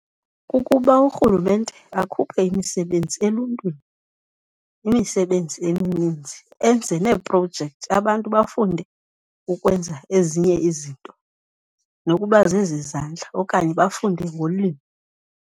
Kukuba urhulumente akhuphe imisebenzi eluntwini, imisebenzi emininzi, enze neeprojekthi abantu bafunde ukwenza ezinye izinto nokuba zezezandla okanye bafunde ngolimo.